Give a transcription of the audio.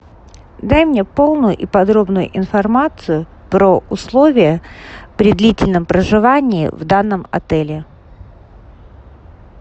дай мне полную и подробную информацию про условия при длительном проживании в данном отеле